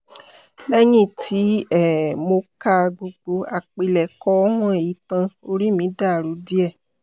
lẹ́yìn tí um mo ka gbogbo àpilẹ̀kọ wọ̀nyí tán orí mi dàrú díẹ̀